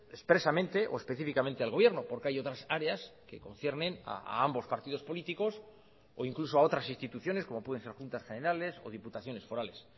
expresamente o específicamente al gobierno porque hay otras áreas que conciernen a ambos partidos políticos o incluso a otras instituciones como pueden ser juntas generales o diputaciones forales